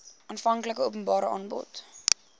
aanvanklike openbare aanbod